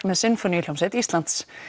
með sinfoníuhljómsveit Íslands